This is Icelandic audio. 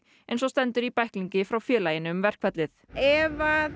eins og stendur í bæklingi frá félaginu um verkfallið ef